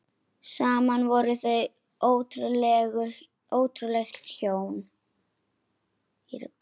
Saman voru þau ótrúleg hjón.